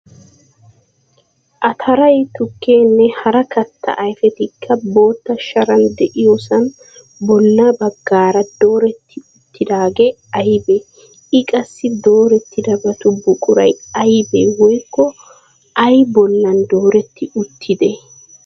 Ataray, tukkeenne hara katta ayfetikka bootta sharan de"iyoosan bolla baggaara dooretti uttidaage aybee? I qassi doorettidobatu buquray aybee woykko ayaa bollan dooretti uttidee?